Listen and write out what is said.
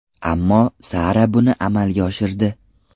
Ammo Sara buni amalga oshirdi.